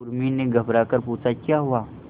उर्मी ने घबराकर पूछा क्या हुआ